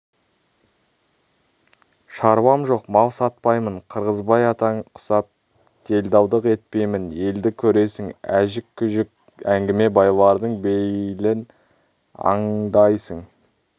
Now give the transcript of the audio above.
шаруам жоқ мал сатпаймын қырғызбай атаң құсап делдалдық етпеймін елді көресің әжік-күжік әңгіме байлардың бейілін аңдайсың